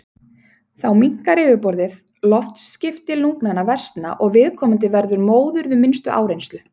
Þá minnkar yfirborðið, loftskipti lungnanna versna og viðkomandi verður móður við minnstu áreynslu.